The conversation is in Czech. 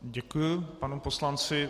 Děkuji panu poslanci.